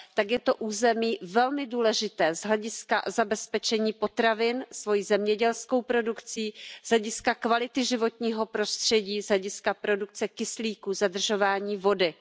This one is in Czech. I tak je to území velmi důležité z hlediska zabezpečení potravin, svojí zemědělskou produkcí, z hlediska kvality životního prostředí, z hlediska produkce kyslíku, zadržování vody.